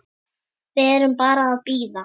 Við erum bara að bíða.